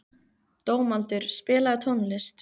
Dómaldur, spilaðu tónlist.